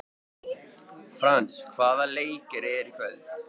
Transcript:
Frans, hvaða leikir eru í kvöld?